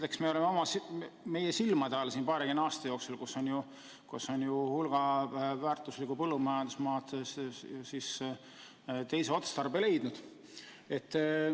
Eks me oleme oma silmaga paarikümne aasta jooksul näinud, kuidas on hulk väärtuslikku põllumajandusmaad teise otstarbe leidnud.